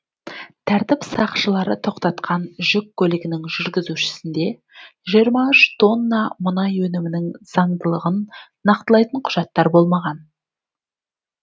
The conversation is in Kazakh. тәртіп сақшылары тоқтатқан жүк көлігінің жүргізушісінде жиырма үш тонна мұнай өнімінің заңдылығын нақтылайтын құжаттар болмаған